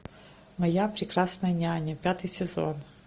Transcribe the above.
моя прекрасная няня пятый сезон